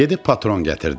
Gedib patron gətirdi.